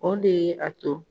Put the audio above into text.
O de ye a to